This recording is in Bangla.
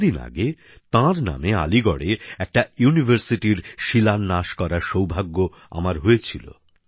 কিছুদিন আগে তাঁর নামে আলীগড়ে একটি বিশ্ববিদ্যালয়ের শিলান্যাস করার সৌভাগ্য আমার হয়েছিল